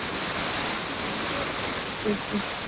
Þessi tegund hefur mjög mikla útbreiðslu.